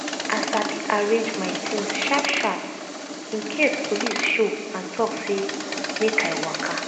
i sabi arrange my things sharp-sharp in case police show and talk say make i waka.